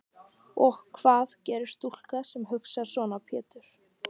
Og hvað gerir stúlka sem hugsar svona Pétur?